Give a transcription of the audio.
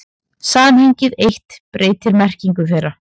Samhengið eitt breytir merkingu þeirra.